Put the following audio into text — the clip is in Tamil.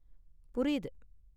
புரியுது.